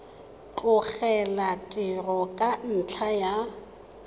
tlogela tiro ka ntlha ya